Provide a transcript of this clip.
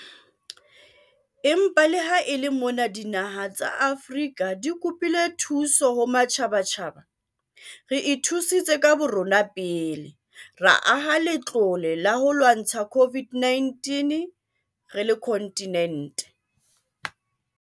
Empa le ha e le mona dinaha tsa Afrika di kopile thuso ho matjhabatjhaba, re ithusitse ka borona pele - ra aha Latlole la ho lwantsha COVID-19 a kontinente.